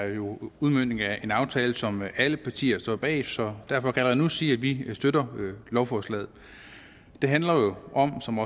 er jo en udmøntning af en aftale som alle partier står bag så derfor kan jeg allerede nu sige at vi støtter lovforslaget det handler om som